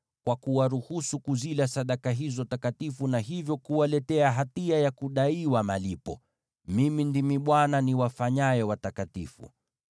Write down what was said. kwa kuwaruhusu kuzila sadaka hizo takatifu, na hivyo kuwaletea hatia ya kudaiwa malipo. Mimi ndimi Bwana niwafanyaye watakatifu.’ ”